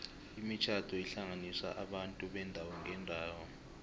imitjhado ihlanganisa abantu beendawo ngeendawo